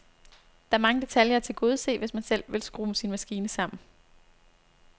Der er mange detaljer at tilgodese, hvis man selv vil skrue sin maskine sammen.